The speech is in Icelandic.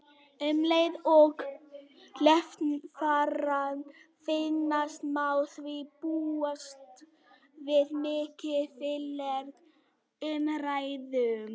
Um leið og leifarnar finnast má því búast við miklu líflegri umræðum.